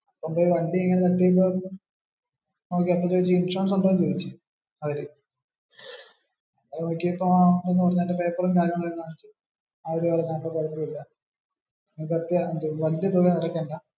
അവര് വണ്ടി ഇങ്ങനെ നിർത്തി ഇട്ടു. ഇൻഷുറൻസ് ഉണ്ടോ എന്ന് ചോയ്ച്ചു അവര്. നോക്കിയപ്പോ അതിന്റെ പ്പറും കാര്യങ്ങളുമെല്ലാം അവര് പറഞ്ഞു അതൊന്നും കൊഴപ്പമില്ല വലിയ തുക ഒന്നും അടയാക്കണ്ട.